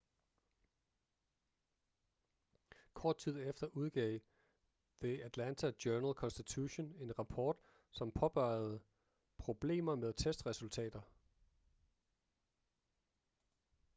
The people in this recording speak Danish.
kort tid efter udgav the atlanta journal-constitution en rapport som påpegede problemer med testresultater